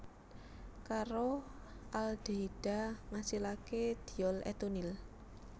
Karo aldehida ngasilaké diol etunil